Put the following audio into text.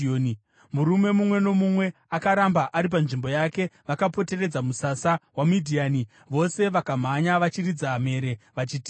Murume mumwe nomumwe akaramba ari panzvimbo yake vakapoteredza musasa, vaMidhiani vose vakamhanya vachiridza mhere, vachitiza.